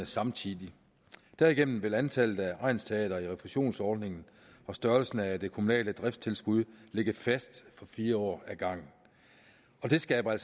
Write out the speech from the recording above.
samtidig derigennem vil antallet af egnsteatre i refusionsordningen og størrelsen af det kommunale driftstilskud ligge fast for fire år ad gangen det skaber